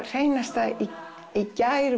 hreinasta í